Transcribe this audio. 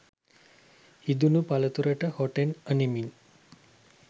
ඉඳුණු පළතුරට හොටෙන් අනිමින්